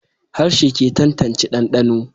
Harshe ke tantance dandano